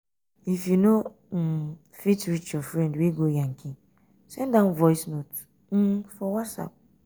if you know um fit reach your friend wey go yankee send am voice um note um for whatsapp.